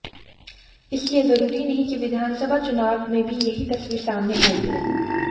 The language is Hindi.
इसलिए जरूरी नहीं कि विधानसभा चुनाव में भी यही तस्वीर सामने आयेगी